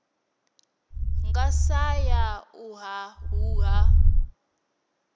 nga sa ya u ṱhaṱhuvha